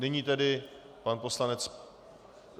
Nyní tedy pan poslanec...